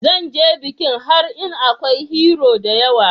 Zan ze bikin har in Akwai "Hero" da yawa.